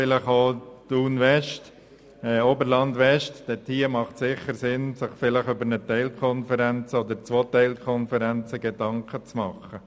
Insbesondere macht es Sinn, sich bei Thun – Oberland-West über Teilkonferenzen Gedanken zu machen.